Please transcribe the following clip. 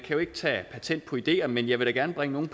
jo ikke tage patent på ideer men jeg vil da gerne bringe